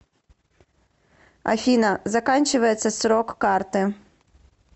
афина заканчивается срок карты